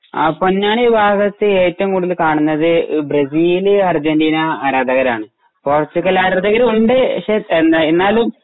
ആ പൊന്നാനി ഭാഗത്തേക്ക് ഏറ്റവും കുടുതൽ കാണുന്നത് എ ബ്രെസില് അർജന്റീന ആരാധകരാണ്. പോർച്ചുഗൽ ആരാധകരും ഉണ്ട് പക്ഷെ എ എന്നാലും